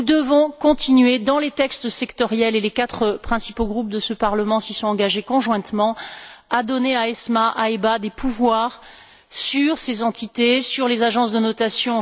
Nous devons continuer dans les textes sectoriels, et les quatre principaux groupes de ce Parlement s'y sont engagés conjointement, à donner à ESMA, à EBA des pouvoirs sur ces entités, sur les agences de notation.